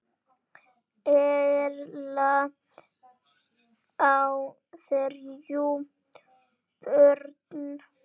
Erla á þrjú börn.